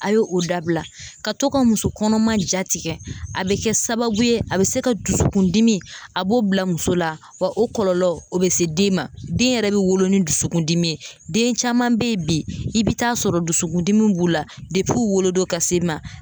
A ye o dabila ka to ka muso kɔnɔma ja tigɛ a be kɛ sababu ye a be se ka dusukundimi a b'o bila muso la wa o kɔlɔlɔ o be se den ma den yɛrɛ be wolo ni dusukundimi ye den caman be yen bi i be taa sɔrɔ dusukundimi b'u la dep'u wolodon ka s'i ma